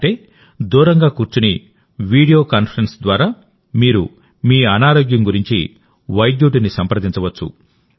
అంటే దూరంగా కూర్చొనివీడియో కాన్ఫరెన్స్ ద్వారామీరు మీ అనారోగ్యం గురించి వైద్యుడిని సంప్రదించవచ్చు